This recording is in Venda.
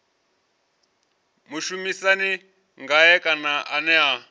mushumisani ngae kana ene a